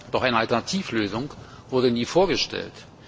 Doch eine Alternativlösung wurde nie vorgestellt.